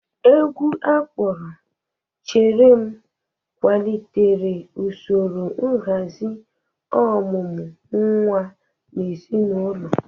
Egwu akpọrọ "Chere m' kwalitere usoro nhazi ọmụmụ nwa n'ezinaụlọ